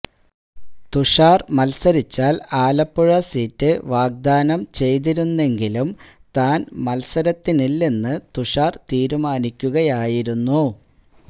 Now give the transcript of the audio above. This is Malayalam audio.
തുഷാര് മത്സരിച്ചാല് ആലപ്പുഴ സീറ്റ് വാഗ്ദാനം ചെയ്തിരുന്നെങ്കിലും താന് മത്സരത്തിനില്ലെന്ന് തുഷാര് തീരുമാനിക്കുകയായിരുന്നു